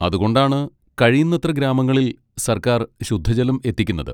അതുകൊണ്ടാണ് കഴിയുന്നത്ര ഗ്രാമങ്ങളിൽ സർക്കാർ ശുദ്ധജലം എത്തിക്കുന്നത്.